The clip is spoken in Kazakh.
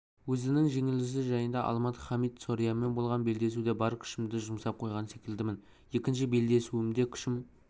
өзінің жеңілісі жайында алмат хамид сорианмен болған белдесуде бар күшімді жұмсап қойған секілдімін екінші белдесуімде күшім